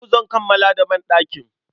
Yau zan kammala da banɗakin.